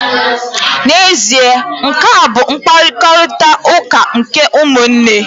N'ezie, nkea bụ mkparịtaụka nke ụmụnne.